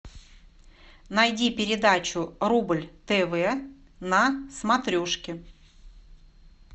найди передачу рубль тв на смотрешке